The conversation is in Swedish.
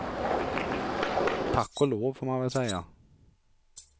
Tack och lov får man väl säga.